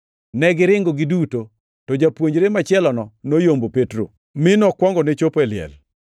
Negiringo giduto, to japuonjre machielono noyombo Petro, mi nokuongone chopo e liel.